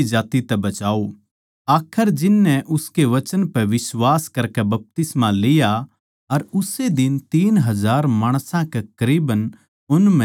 आखर जिननै उसके वचन पै बिश्वास करकै बपतिस्मा लिया अर उस्से दिन तीन हजार माणसां कै करीबन उन म्ह मिलगे